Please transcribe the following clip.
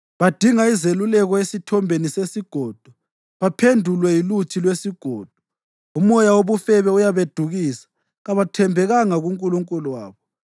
Badinga izeluleko esithombeni sesigodo baphendulwe yiluthi lwesigodo. Umoya wobufebe uyabedukisa; kabathembekanga kuNkulunkulu wabo.